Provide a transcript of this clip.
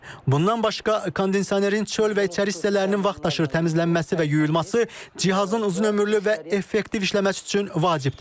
Bundan başqa kondisionerin çöl və içəri hissələrinin vaxtaşırı təmizlənməsi və yuyulması cihazın uzunömürlü və effektiv işləməsi üçün vacibdir.